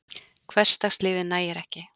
Hversdagslífið nægir ekki.